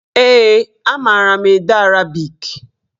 Ee, a mara m ede arabik.